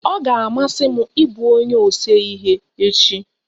Ọ ga-amasị m ị bụ onye ose ihe echi.